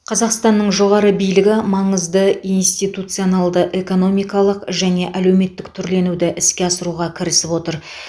қазақстанның жоғары билігі маңызды институционалды экономикалық және әлеуметтік түрленуді іске асыруға кірісіп отыр